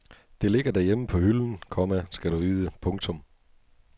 Det ligger derhjemme på hylden, komma skal du vide. punktum